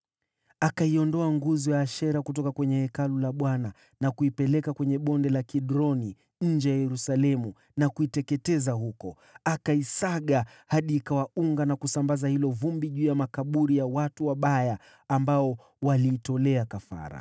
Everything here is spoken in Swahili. Akaiondoa nguzo ya Ashera kutoka kwenye Hekalu la Bwana , na kuipeleka kwenye Bonde la Kidroni nje ya Yerusalemu, akaiteketeza huko. Akaisaga hadi ikawa unga na kusambaza hilo vumbi juu ya makaburi ya watu wa kawaida.